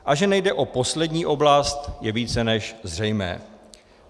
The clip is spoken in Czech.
A že nejde o poslední oblast, je více než zřejmé.